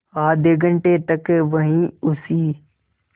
आधे घंटे तक वहीं उसी